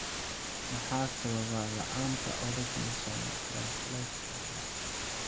Maxaa sababa la'aanta ornithine transcarbamylase (OTC)?